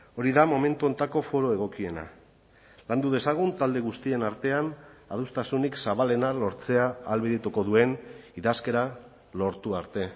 hori da momentu honetako foru egokiena landu dezagun talde guztien artean adostasunik zabalena lortzea ahalbidetuko duen idazkera lortu arte